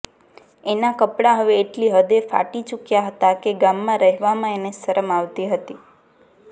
એનાં કપડાં હવે એટલી હદે ફટી ચૂક્યાં હતાં કે ગામમાં રહેવામાં એને શરમ આવતી હતી